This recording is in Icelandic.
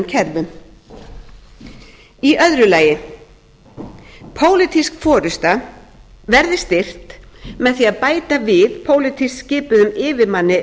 kerfum önnur pólitísk forusta verði styrkt með því að bæta við pólitískt skipuðum yfirmanni